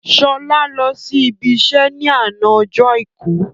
Sọlá lọ sí ibi iṣẹ́ ni àná ọjọ́ Àìkú